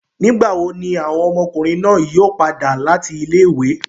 Nigbawo ni awọn ọmọkunrin naa yoo pada lati ile-iwe?